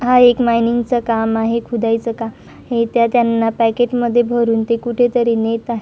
हा एक मायनिंग चं काम आहे खुदाईचं काम आहे त्या त्यांना पॅकेटमध्ये भरून ते कुठेतरी नेत आहे.